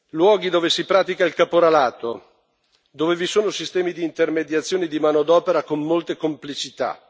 Luoghi dove si pratica il caporalato, dove vi sono sistemi di intermediazione di manodopera con molte complicità.